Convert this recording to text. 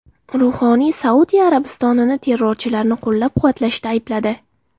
Ruhoniy Saudiya Arabistonini terrorchilarni qo‘llab-quvvatlashda aybladi.